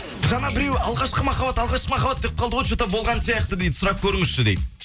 жаңа біреу алғашқы махаббат алғашқы махаббат деп қалды ғой че то болған сияқты дейді сұрап көріңізші дейді